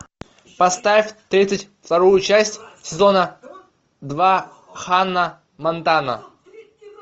поставь тридцать вторую часть сезона два ханна монтана